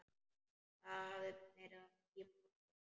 Það hafði verið í morgun.